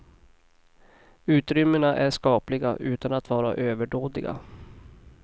Utrymmena är skapliga, utan att vara överdådiga.